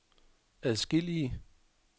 adskillige